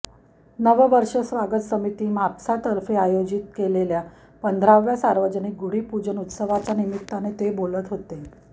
नववर्ष स्वागत समिती म्हापसातर्फे आयोजित केलेल्या पंधराव्या सार्वजनिक गुढीपूजन उत्सवाच्या निमित्ताने ते बोलत होते